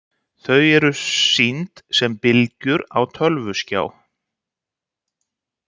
Þau eru síðan sýnd sem bylgjur á tölvuskjá.